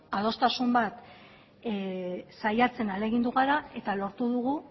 adostasun bat saiatzen ahalegindu gara eta lortu dugu